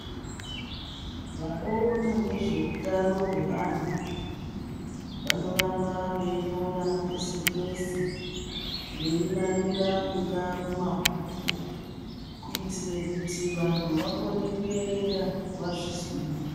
Vanoona nezveutano hwevantu vanoramba veinyora pese pese veinamira mungaa mumabhuku kuitire kuti vanhu vakone kuerenga vazvizwire.